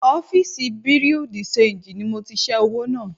Ọ́fìsì Bùréú dì ṣenjì ni mo ti ṣẹ́ owó náà